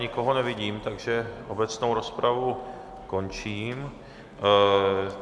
Nikoho nevidím, takže obecnou rozpravu končím